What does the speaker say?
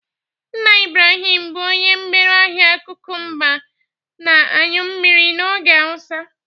Nna Ibrahim bụ onye mgbere ahịa kụkụmba na aṅyu mmiri n'ogbe awụsa